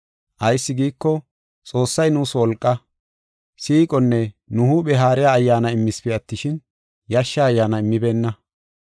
Ayis giiko, Xoossay nuus wolqaa, siiqonne nu huuphe haariya Ayyaana immispe attishin, yashsha ayyaana immibeenna.